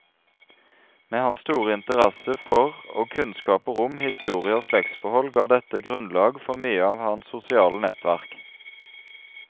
Med hans store interesse for og kunnskaper om historie og slektsforhold ga dette grunnlag for mye av hans sosiale nettverk.